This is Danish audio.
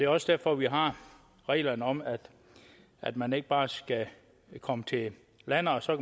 også derfor vi har reglerne om at at man ikke bare skal komme til landet og så